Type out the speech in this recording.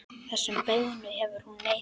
Þessum beiðnum hefur hún neitað.